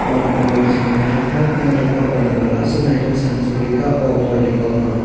ood mall binsingo naitotok ungoi tangka o mall asok naitok sana si koroi ka o mall ni kok no.